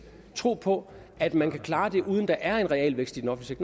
tro på at man kan klare det uden at der er en realvækst i den offentlige